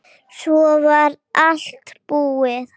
Svo var allt búið.